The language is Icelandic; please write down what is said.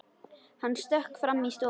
Hann stökk fram í stofu.